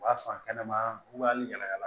U b'a san kɛnɛma u b'a yɛlɛma